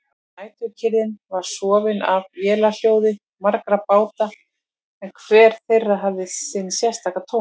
Næturkyrrðin var rofin af vélarhljóði margra báta en hver þeirra hafði sinn sérstaka tón.